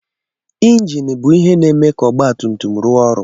Injin bụ ihe na-eme ka ọgba tum tum rụọ ọrụ.